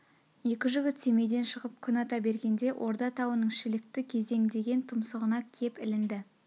екі жігіт семейден шығып күн ата бергенде орда тауының шілікті кезең деген тұмсығына кеп ілінді